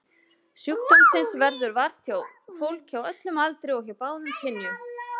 Sjúkdómsins verður vart hjá fólki á öllum aldri og hjá báðum kynjum.